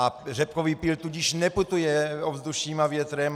A řepkový pyl tudíž neputuje ovzduším a větrem.